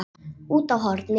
Úti á horni.